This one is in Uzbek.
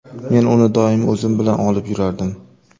Men uni doim o‘zim bilan olib yurardim.